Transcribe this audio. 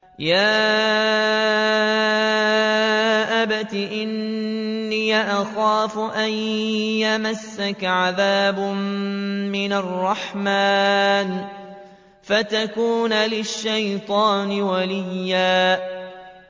يَا أَبَتِ إِنِّي أَخَافُ أَن يَمَسَّكَ عَذَابٌ مِّنَ الرَّحْمَٰنِ فَتَكُونَ لِلشَّيْطَانِ وَلِيًّا